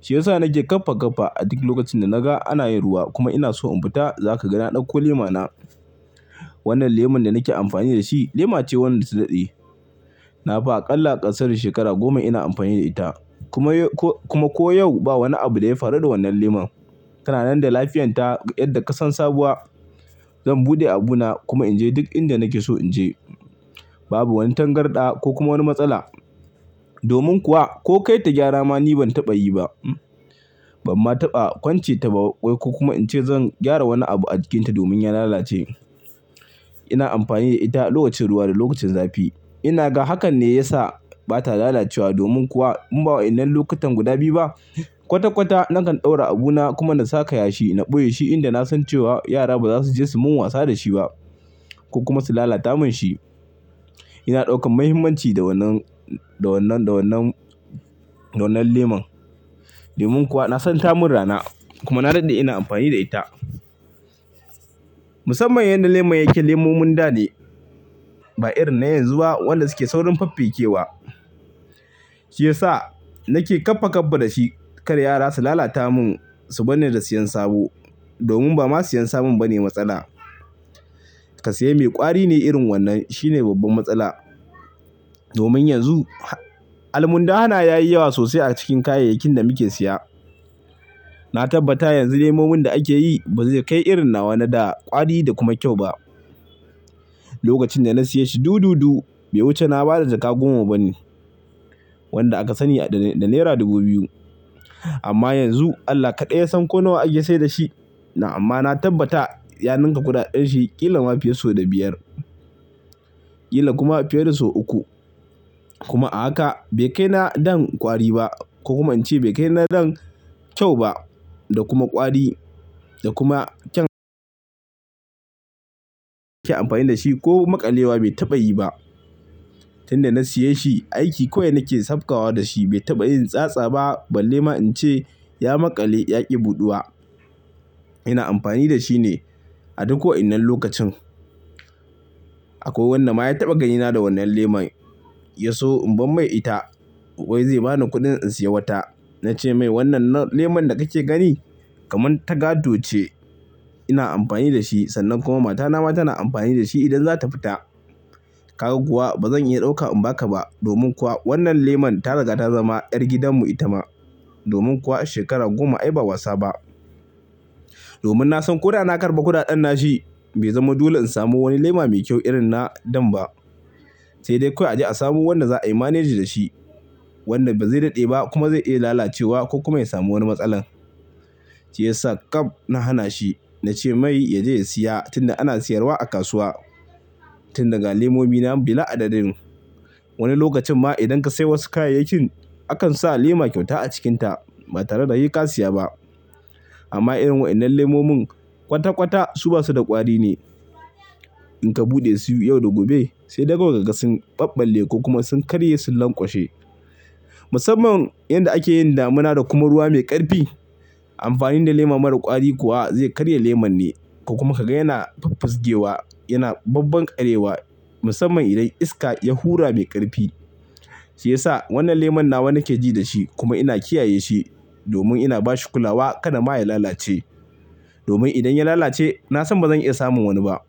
Shi ya sa nake ƙafa ƙafa a duk lokacin da naga ana yin ruwa kuma ina so in fita. Za ka ga na ɗauko lema na. Wannan leman da nake amfani da shi lema ce wadda ta daɗe. Na fi aƙalla ƙasarsu shekara goma ina amfani da ita kuma ko, kuma ko yau ba wani abu da ya faru da wannan leman. Kananan da lafiyarta yadda ka san sabuwa. Zan buɗe abuna kuma in je duk inda nake so in je. Babu wani tangarɗa ko kuma wani matsala. Domin kuwa ko kai ta gyara ma ni ban taɓa yi ba. Ban ma taɓa kwance ta ba ƙwai ko kuma in ce zan gyara wani abu a jikinta domin ya lalace. Ina amfani da ita lokacin ruwa da lokacin zafi. Ina ga hakan ne ya sa bata lalacewa. Domin kuwa in ba wa'innan lokutan guda biyu ba. Kwata kwata na kan ɗaura abuna kuma na saka yashi in ɓoye shi. Inda na san cewa yara ba za su je su mun wasa da shi ba ko kuma su lalata mun shi. Ina ɗaukan muhimmanci da wannan, da wannan, da wannan, da wannan leman. Domin kuwa na san ta mun rana kuma na daɗe ina amfani da ita. Musamman yan da leman yake lemomin dane ba irin na yanzu ba wanda suke saurin faffikewa. Shi ya sa nake ƙafa ƙafa da shi kar yara su lalata mun, su banni da siyan sabo. Domin ba ma siyan sabon bane matsala. Ka sayi mai ƙwari ne irin wannan shine babban matsala. Domin yanzu almunda hana yayi yawa sosai a cikin kayayyakin da muke siya. Na tabbata yanzu lemomin da ake yi ba zai kai irin na wannan da ƙwari da kuma kyau ba. Lokacin da na siya shi du du du, bai wuce na ba da jaka goma bane wanda aka sani da nera dubu biyu. Amma yanzu Allah kaɗai yasan ko nawa ake saida shi. Amma na tabbata ya ninka gudaɗan shi ƙila ma fiya sau da biyar, ƙila kuma fiye da sau uku. Kuma a haka bai kai na dan ƙwari ba. Kuma in ce bai kai na dan kyau ba da kuma ƙwari da kuma kyan ake amfani da shi ko maƙalewa bai taɓa yi ba. Tunda na siya shi aiki kawai nake safka wa da shi bai taɓa yin tsatsa ba ballema in ce ya maƙale yaƙi buɗuwa. Ina amfani da shi ne a duk ko innar lokacin. Akwai wannan ma ya taɓa ganina da wannan leman ya so in bar mai ita. Wai zai bani kuɗin in siya wata. Na ce mai, "Wannan leman da kake gani kamar tagado ce. Ina amfani da shi. Sannan kuma mata na ma tana amfani da shi idan za ta fita. Kaga kuwa ba zan iya ɗauka in ba ka ba domin kuwa wannan lemon ta riga ta zama ƴar gidanmu ita ma. Domin kuwa shekara goma ai ba wasa ba." Domin na san ko da na karɓa gudaɗan na shi bai zamo dolen in samu wani lema mai kyau irin na dan ba. Sai dai kawai a ji a samu wannan za a yi maneji da shi. Wannan ba zai daɗe ba kuma zai iya lalacewa ko kuma ya samu wani matsala. Shi ya sa ƙab na hana shi. Na ce mai ya je ya siya tunda ana siyarwa a kasuwa. Tunda ga lemomi na bi la adadin. Wani lokacin ma idan ka sai wasu kayayyakin akan sa lema kyauta a cikinta ba tare da yai ka siya ba. Amma irin wa innar lemomin kwata kwata su basu da ƙwari ne. In ka buɗe su yau da gobe sai dai kawai kaga sun ɓabbale ko kuma sun karye su lanƙwashe. Musamman inda ake yin damuna da kuma ruwa mai ƙarfi. Amfani da lema mara ƙwari kuwa zai karya lemon ne. Kuma ka ga yana faffaskewa, yana babban ƙarewa. Musamman idan iska ya hura mai ƙarfi. Shi ya sa wannan leman nawa nake ji da shi kuma ina kiyaye shi domin ina bashi kulawa kada ma ya lalace. Domin idan ya lalace na san ba zan iya samun wani ba.